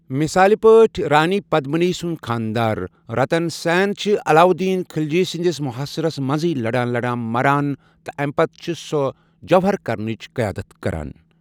مِثال پٲٹھۍ، رانی پدمنی سُنٛد خانٛدار۔ رتن سین چھ علاوالدین خلجی سٕنٛدِس محٲصرس منزے لڑان لڑان مران، تہٕ اَمہِ پتہٕ چھِ سۄ جوہر كرنٕچ قیادت کران۔